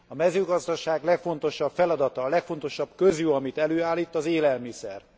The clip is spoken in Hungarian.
A mezőgazdaság legfontosabb feladata, a legfontosabb közjó, amit előállít, az élelmiszer.